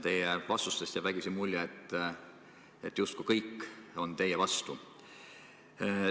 Teie vastustest jääb vägisi mulje, justkui kõik oleksid teie vastu.